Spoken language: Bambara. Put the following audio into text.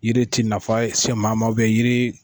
Yiri ti nafa se maa ma yiri.